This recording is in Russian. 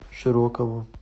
широкову